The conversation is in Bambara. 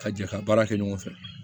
Ka jɛ ka baara kɛ ɲɔgɔn fɛ